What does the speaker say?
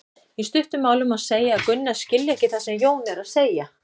Í stuttu máli má segja að Gunna skilji ekki það sem Jón er að segja.